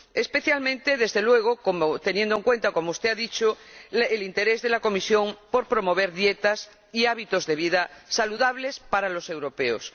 Especialmente, teniendo en cuenta, como usted ha dicho, el interés de la Comisión por promover dietas y hábitos de vida saludables para los europeos.